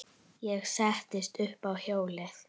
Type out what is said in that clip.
Ég settist upp á hjólið.